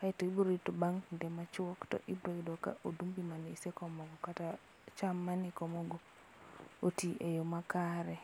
Kaio ibro rito bang' kinde machuok to ibro yudo ka odumbi mane isekomo kata cham mane ikomo go otii e yoo makare.